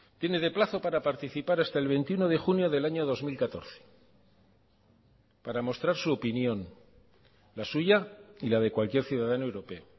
tiene de plazo para participar hasta el veintiuno de junio del año dos mil catorce para mostrar su opinión la suya y la de cualquier ciudadano europeo